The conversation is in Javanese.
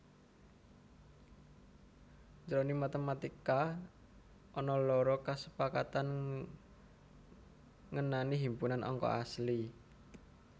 Jroning matematika ana loro kasepakatan ngenani himpunan angka asli